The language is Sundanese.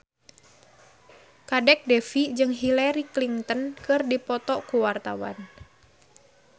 Kadek Devi jeung Hillary Clinton keur dipoto ku wartawan